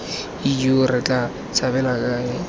ijoo re tla tshabela kae